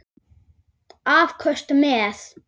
Afköst með